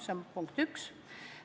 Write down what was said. See on punkt üks.